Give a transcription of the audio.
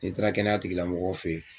N'i taara kɛnɛya tigilamɔgɔw fɛ yen